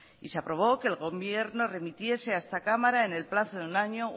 y se aprobó que el gobierno remitiese a esta cámara en el plazo de un año